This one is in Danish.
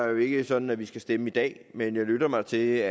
jo ikke sådan at vi skal stemme i dag men jeg lytter mig til